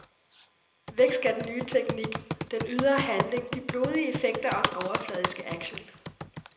Væk skal den nye teknik, den ydre handling, de blodige effekter og den overfladiske action.